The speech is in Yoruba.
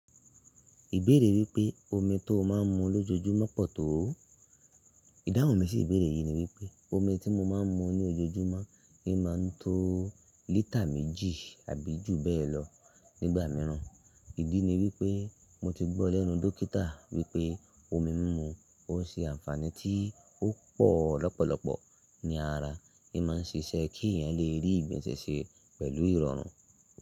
Ìbéèrè wípé omi tó o máa ń mu lójoojúmọ́ pọ̀ tó ó? Ìdáhùn mi sí ìbéèrè yìí ni wípé omi tí mo máa ń mu ní ojoojúmọ́ ni máa ń tó lítà méjì àbí jù bẹ́ẹ̀ lọ nígbà mìíràn. Ìdí ni wípé mo ti gbó lẹ́nu dókítà wípé omi mímu ó n ṣe ànfàní tí ó pò lọ́pọ̀lọpọ̀ ní ara, n máa ń ṣiṣẹ́ kí èèyàn lè rí ìgbonsẹ̀ ṣe pẹ̀lú ìrọ̀rùn.